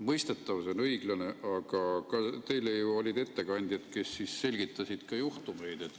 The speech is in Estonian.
Mõistetav, see on õiglane, aga ka teil ju olid ettekandjad, kes selgitasid neid juhtumeid.